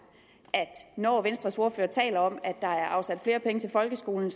at når venstres ordfører taler om at der er afsat flere penge til folkeskolen